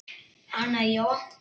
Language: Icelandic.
Anna Jóa